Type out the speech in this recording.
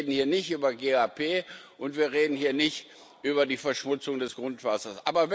Wir reden hier nicht über GAP, und wir reden hier nicht über die Verschmutzung des Grundwassers.